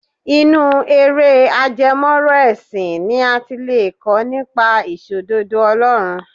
Inú eré ajẹmọ́ ọ̀rọ̀ ẹ̀sìn ni a ti lè kọ́ nípa Ìṣòdodo Ọlọ́run